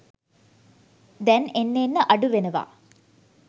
දැන් එන්න එන්න අඩුවෙනවා